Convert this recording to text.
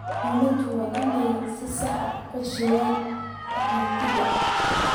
Dawladdu waa inay si sax ah u qorsheysaa qaxootiga.